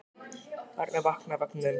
Barnið vaknaði í vagninum.